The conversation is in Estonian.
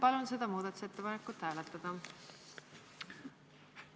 Palun seda muudatusettepanekut hääletada!